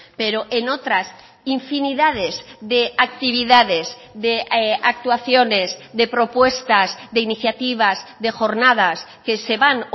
pero en otras infinidades de actividades de actuaciones de propuestas de iniciativas de jornadas que se van